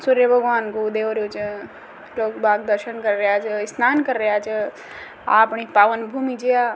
सूर्य भगवान को उदय हो रो छे लोग बाग़ दर्शन कर रिया छ स्नान कर रिया छ अपनी पावन भूमि छ या।